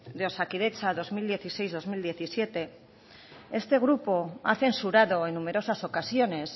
de osakidetza dos mil dieciséis dos mil diecisiete este grupo ha censurado en numerosas ocasiones